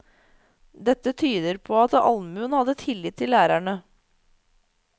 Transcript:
Dette tyder på at allmuen hadde tillit til lærerne.